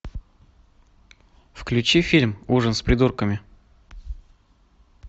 включи фильм ужин с придурками